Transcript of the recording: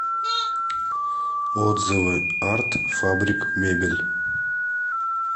отзывы арт фабрик мебель